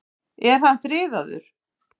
Er hann friðaður?